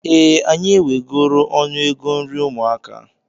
Ee, anyị wegoro ọnụego nri ụmụaka.